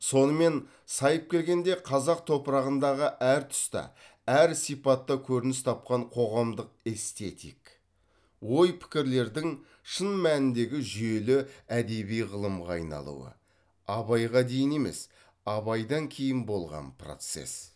сонымен сайып келгенде қазақ топырағындағы әр тұста әр сипатта көрініс тапқан қоғамдық эстетик ой пікірлердің шын мәніндегі жүйелі әдеби ғылымға айналуы абайға дейін емес абайдан кейін болған процесс